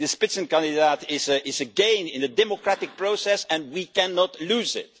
The Spitzenkandidat is a gain in the democratic process and we cannot lose it.